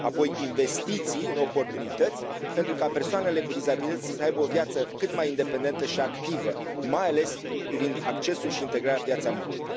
Apoi, investiții în oportunități pentru ca persoanele cu dizabilități să aibă o viață cât mai independentă și activă, mai ales privind accesul și integrarea pe piața muncii.